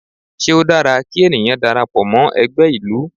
Ṣé ó dára kí ènìyàn darapọ̀ mọ́ ẹgbẹ́ ìlú?